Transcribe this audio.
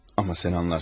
Amma sən anlarsın.